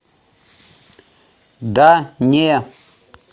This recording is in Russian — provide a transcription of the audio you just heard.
да не